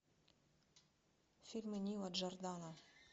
фильмы нила джордана